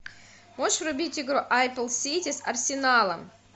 можешь врубить игру апл сити с арсеналом